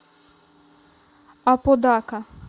аподака